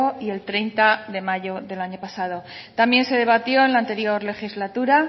y el treinta de mayo del año pasado también se debatió en la anterior legislatura